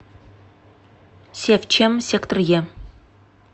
севчем сектор е